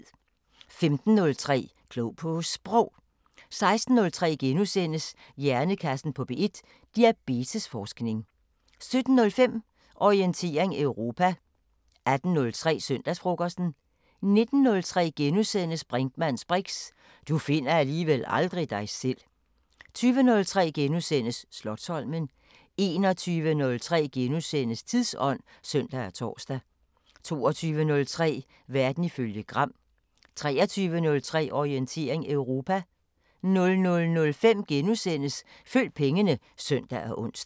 15:03: Klog på Sprog 16:03: Hjernekassen på P1: Diabetes-forskning * 17:05: Orientering Europa 18:03: Søndagsfrokosten 19:03: Brinkmanns briks: Du finder alligevel aldrig dig selv * 20:03: Slotsholmen * 21:03: Tidsånd *(søn og tor) 22:03: Verden ifølge Gram 23:03: Orientering Europa 00:05: Følg pengene *(søn og ons)